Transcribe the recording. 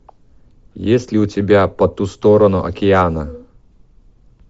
есть ли у тебя по ту сторону океана